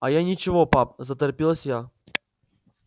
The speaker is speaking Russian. а я и ничего пап заторопилась я